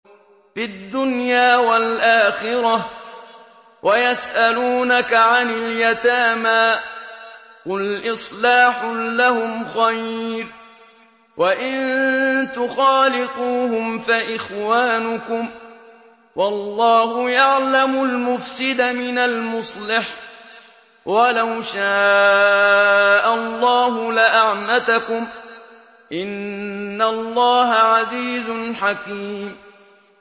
فِي الدُّنْيَا وَالْآخِرَةِ ۗ وَيَسْأَلُونَكَ عَنِ الْيَتَامَىٰ ۖ قُلْ إِصْلَاحٌ لَّهُمْ خَيْرٌ ۖ وَإِن تُخَالِطُوهُمْ فَإِخْوَانُكُمْ ۚ وَاللَّهُ يَعْلَمُ الْمُفْسِدَ مِنَ الْمُصْلِحِ ۚ وَلَوْ شَاءَ اللَّهُ لَأَعْنَتَكُمْ ۚ إِنَّ اللَّهَ عَزِيزٌ حَكِيمٌ